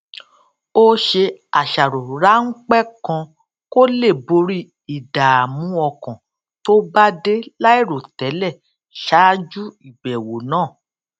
ó ṣe àṣàrò ráńpé kan kó lè borí ìdààmú ọkàn tó bá dé láìròtélè ṣáájú ìbèwò náà